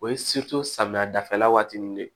O ye samiya dafɛla waati nin de ye